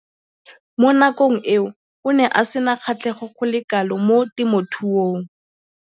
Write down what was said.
Mo nakong eo o ne a sena kgatlhego go le kalo mo temothuong.